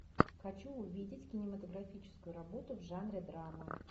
хочу увидеть кинематографическую работу в жанре драма